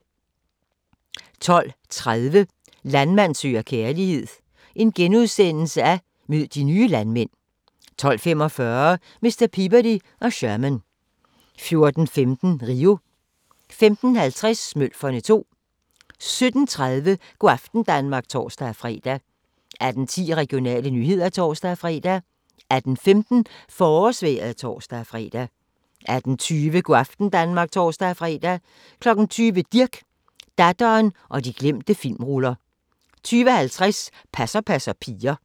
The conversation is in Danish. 12:30: Landmand søger kærlighed - mød de nye landmænd * 12:45: Hr. Peabody og Sherman 14:15: Rio 15:50: Smølferne 2 17:30: Go' aften Danmark (tor-fre) 18:10: Regionale nyheder (tor-fre) 18:15: Forårsvejret (tor-fre) 18:20: Go' aften Danmark (tor-fre) 20:00: Dirch, datteren og de glemte filmruller 20:50: Passer passer piger